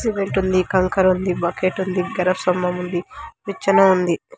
Cement ఉంది. కంకర ఉంది. బకెట్ ఉంది. కరెంటు స్తంభం. నిచ్చెన ఉంది.